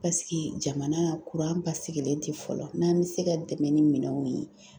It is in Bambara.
jamana kuran basigilen tɛ, fɔlɔ n'an bɛ se ka dɛmɛ ni minɛnw ye.